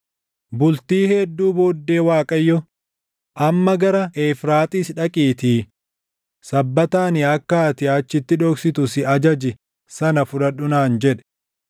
Bultii hedduu booddee Waaqayyo, “Amma gara Efraaxiis dhaqiitii sabbata ani akka ati achitti dhoksitu si ajaje sana fudhadhu” naan jedhe.